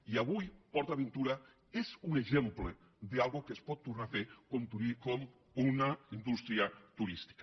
i avui port aventura és un exemple d’una cosa que es pot tornar a fer com una in·dústria turística